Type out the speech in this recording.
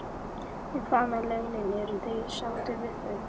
En hvað með launin, eru þeir sáttir við þau?